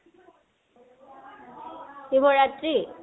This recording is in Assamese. শিৱ ৰাত্ৰি?